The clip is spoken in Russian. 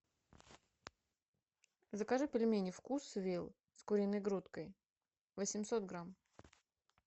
закажи пельмени вкусвилл с куриной грудкой восемьсот грамм